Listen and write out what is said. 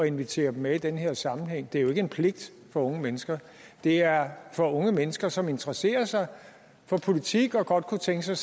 invitere dem med i den her sammenhæng det er jo ikke en pligt for unge mennesker det er for unge mennesker som interesserer sig for politik og godt kunne tænke sig